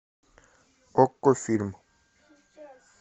окко фильм